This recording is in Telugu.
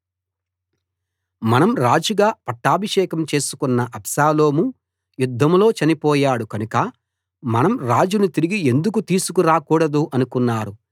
మనం రాజుగా పట్టాభిషేకం చేసికొన్న అబ్షాలోము యుద్ధంలో చనిపోయాడు కనుక మనం రాజును తిరిగి ఎందుకు తీసుకు రాకూడదు అనుకున్నారు